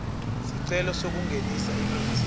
sicelo sekungenisa imitsi